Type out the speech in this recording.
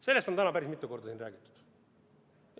Sellest on täna päris mitu korda siin räägitud.